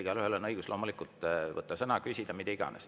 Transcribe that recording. Igaühel on loomulikult õigus võtta sõna ja küsida või mida iganes.